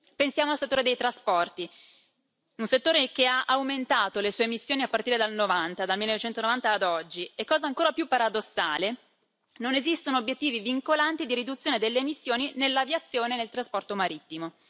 Pensiamo al settore dei trasporti, un settore che ha aumentato le sue emissioni a partire dal 1990 ad oggi e, cosa ancora più paradossale, non esistono obiettivi vincolanti di riduzione delle emissioni nell'aviazione e nel trasporto marittimo.